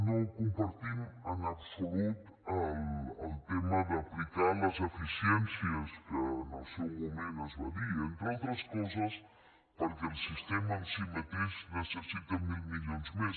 no compartim en absolut el tema d’aplicar les eficiències que en el seu moment es va dir entre altres coses perquè el sistema en si mateix necessita mil milions més